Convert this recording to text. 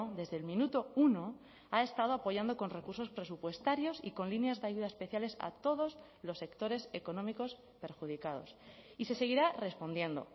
desde el minuto uno ha estado apoyando con recursos presupuestarios y con líneas de ayudas especiales a todos los sectores económicos perjudicados y se seguirá respondiendo